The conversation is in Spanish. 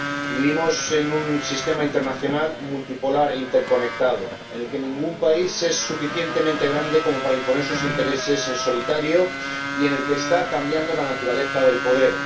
Vivimos en un sistema internacional multipolar interconectado en el que ningún país es suficientemente grande como para imponer sus intereses en solitario y en el que está cambiando la naturaleza del poder.